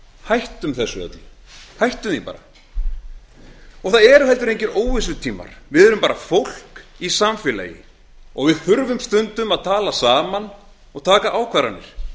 hættum þessu bara hættum því núna og það eru engir óvissutímar við erum bara fólk í samfélagi og við þurfum stundum að tala saman og taka ákvarðanir